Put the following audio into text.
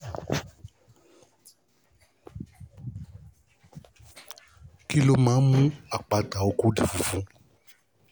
kí ló máa ń mú kí àpáta oko di funfun?